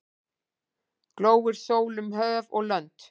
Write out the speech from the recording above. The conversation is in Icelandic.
Glóir sól um höf og lönd.